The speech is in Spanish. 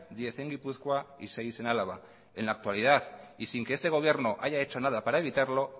diez en gipuzkoa y seis en álava en la actualidad y sin que este gobierno haya hecho nada para evitarlo